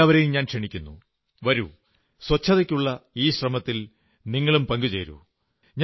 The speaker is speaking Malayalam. എല്ലാവരെയും ഞാൻ ക്ഷണിക്കുന്നു വരൂ ശുചിത്വത്തിനായുള്ള ഈ ശ്രമത്തിൽ നിങ്ങളും പങ്കുചേരൂ